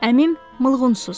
Əmim Mılgunsuz.